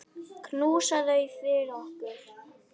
Knúsaðu þau fyrir okkur.